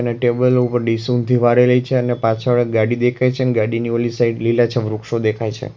અને ટેબલ ઉપર ડીશ ઊંધી વાળેલી છે અને પાછળ ગાડી દેખાય છે ને ગાડીની ઓલી સાઈડ લીલાછમ વૃક્ષો દેખાય છે.